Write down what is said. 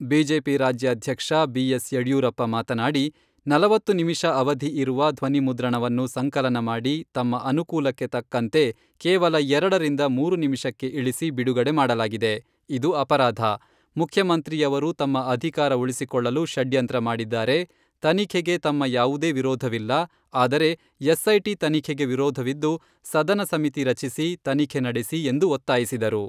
BJP ರಾಜ್ಯಾಧ್ಯಕ್ಷ, BS Yediyurappa ಮಾತನಾಡಿ, ನಲವತ್ತು ನಿಮಿಷ ಅವಧಿ ಇರುವ ಧ್ವನಿ ಮುದ್ರಣವನ್ನು ಸಂಕಲನ ಮಾಡಿ ತಮ್ಮ ಅನುಕೂಲಕ್ಕೆ ತಕ್ಕಂತೆ ಕೇವಲ ಎರಡರಿಂದ ಮೂರು ನಿಮಿಷಕ್ಕೆ ಇಳಿಸಿ ಬಿಡುಗಡೆ ಮಾಡಲಾಗಿದೆ , ಇದು ಅಪರಾಧ, ಮುಖ್ಯಮಂತ್ರಿಯವರು ತಮ್ಮ ಅಧಿಕಾರ ಉಳಿಸಿಕೊಳ್ಳಲು ಷಡ್ಯಂತ್ರ ಮಾಡಿದ್ದಾರೆ, ತನಿಖೆಗೆ ತಮ್ಮ ಯಾವುದೇ ವಿರೋಧವಿಲ್ಲ , ಆದರೆ ಎಸ್ಐಟಿ ತನಿಖೆಗೆ ವಿರೋಧವಿದ್ದು ಸದನ ಸಮಿತಿ ರಚಿಸಿ ತನಿಖೆ ನಡೆಸಿ, ಎಂದು ಒತ್ತಾಯಿಸಿದರು.